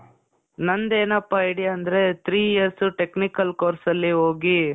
ನಂದೇನಪ್ಪಾ idea ಅಂದ್ರೆ three years technical course ಅಲ್ಲಿ ಹೋಗಿ .